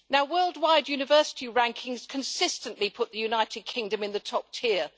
Worldwide university rankings consistently put the United Kingdom in the top tier.